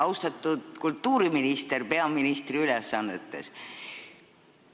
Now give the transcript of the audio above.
Austatud kultuuriminister peaministri ülesannetes!